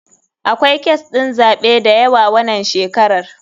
Akwai kes ɗin zaɓe dayawa wanan shekaran.